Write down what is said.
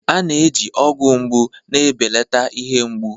A na-eji ọgwụ mgbu na-ebelata ihe mgbu.